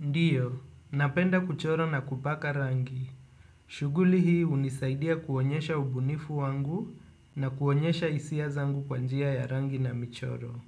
Ndiyo, napenda kuchoro na kupaka rangi. Shughuli hii hunisaidia kuonyesha ubunifu wangu na kuonyesha hisia zangu kwa njia ya rangi na michoro.